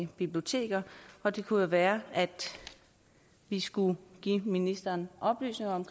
biblioteker og det kunne jo være at vi skulle give ministeren oplysninger om